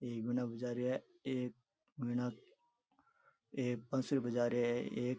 एक गाना बजा रेहा है एक गाना एक बासुरी बजा रेहा है एक --